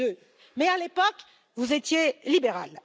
2002. Mais à l'époque, vous étiez libéral.